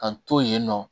K'an to yen nɔ